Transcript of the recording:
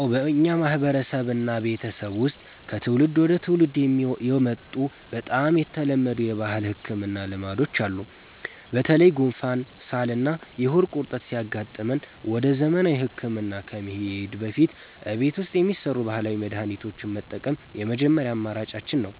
አዎ፣ በእኛ ማህበረሰብና ቤተሰብ ውስጥ ከትውልድ ወደ ትውልድ የመጡ በጣም የተለመዱ የባህል ህክምና ልማዶች አሉ። በተለይ ጉንፋን፣ ሳልና የሆድ ቁርጠት ሲያጋጥመን ወደ ዘመናዊ ህክምና ከመሄዳችን በፊት እቤት ውስጥ የሚሰሩ ባህላዊ መድሃኒቶችን መጠቀም የመጀመሪያ አማራጫችን ነው።